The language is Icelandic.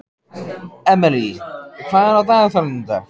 Emely, hvað er á dagatalinu í dag?